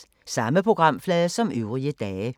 Samme programflade som øvrige dage